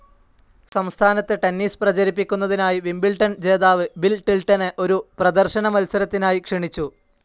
സംസ്ഥാനത്ത് ടെന്നിസ്‌ പ്രചരിപ്പിക്കുന്നതിനായി വിംബിൾഡൺ ജേതാവ് ബിൽ ടിൽടനെ ഒരു പ്രദർശന മത്സരത്തിനായി ക്ഷണിച്ചു.